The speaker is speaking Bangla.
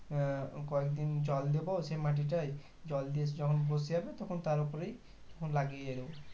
আহ কয়েকদিন জল দিবো সে মাটিটাই জল দিয়ে যখন বসে যাবে তখন তার ওপরে তখন লাগিয়ে দেব